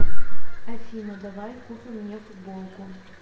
афина давай купим мне футболку